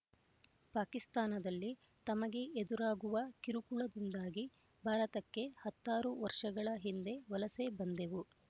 ಪಾಕಿಸ್ತಾನದಲ್ಲಿ ತಮಗೆ ಎದುರಾಗುವ ಕಿರುಕುಳದಿಂದಾಗಿ ಭಾರತಕ್ಕೆ ಹತ್ತಾರು ವರ್ಷಗಳ ಹಿಂದೆ ವಲಸೆ ಬಂದೆವು